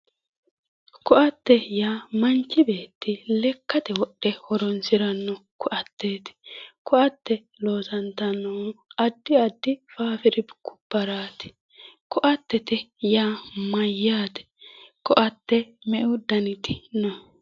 Ko"atte yaa manchi beetti lekkate wodhe horoonsirannoho ko"atteeti ko"atte loosantannohu addi addi faafirukubbaraati ko"attete yaa mayyaate ko"atte meu danitino